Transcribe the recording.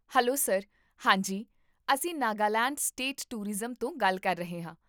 hello sir, ਹਾਂ ਜੀ ਅਸੀਂ ਨਾਗਾਲੈਂਡ ਸਟੇਟ ਟੂਰਿਜ਼ਮ ਤੋਂ ਗੱਲ ਕਰ ਰਹੇ ਹਾਂ